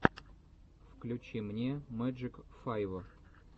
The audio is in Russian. включи мне мэджик файв